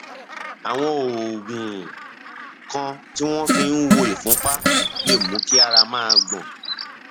àwọn oògùn kan tí wọn fi ń wo ìfúnpá lè mú kí ara máa gbọn